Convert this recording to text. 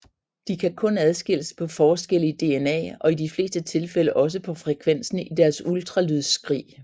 De kan kun adskilles på forskelle i DNA og i de fleste tilfælde også på frekvensen i deres ultralydsskrig